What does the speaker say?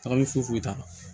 Tagali foyi t'a la